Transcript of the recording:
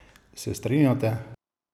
Se strinjate?